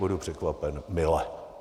Budu překvapen mile.